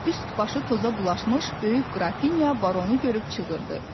Üst-başı toza bulaşmış böyük qrafinya Barunu görüb çığırdı.